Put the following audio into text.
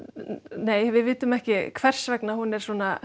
nei við vitum ekki hvers vegna hún